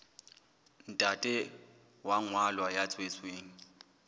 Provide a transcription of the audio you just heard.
ntate wa ngwana ya tswetsweng